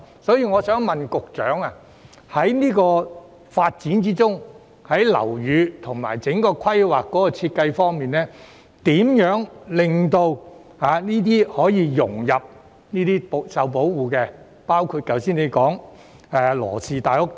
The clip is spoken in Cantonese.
因此，我想問局長，在這個發展項目中，如何確保樓宇和整體規劃的設計能令新建項目融入這些受保護的文物之中，包括局長剛才提及的羅氏大屋等？